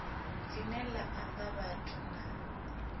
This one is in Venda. line la amba vhathu na